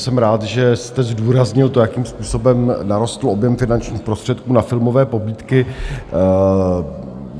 Jsem rád, že jste zdůraznil to, jakým způsobem narostl objem finančních prostředků na filmové pobídky.